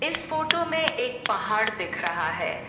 इस फोटो में एक पहाड़ दिख रहा है।